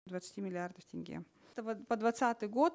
двадцати миллиардов тенге это вот по двадцатый год